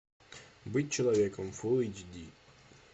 быть человеком фулл эйч ди